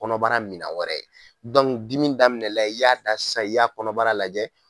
Kɔnɔbara minan wɛrɛ ye dimi daminɛ la i y'a ta sisan i y'a kɔnɔbara lajɛ.